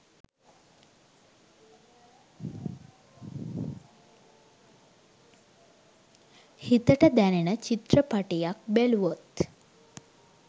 හිතෙට දැනෙන චිත්‍රපටියක් බැලුවොත්